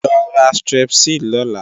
Lo ra Strepsil lọ́la!